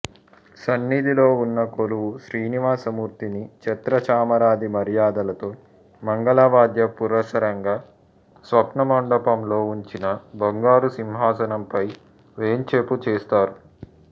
సన్నిధిలో వున్న కొలువు శ్రీనివాసమూర్తిని ఛత్రచామరాది మర్యాదలతో మంగళవాద్య పురస్సరంగా స్నపనమండపంలో ఉంచిన బంగారుసింహాసనంపై వేంచేపు చేస్తారు